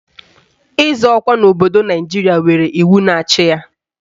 Ịzọ ọkwa ọchịchị n'obodo Naijiria nwere iwu na-achị ya.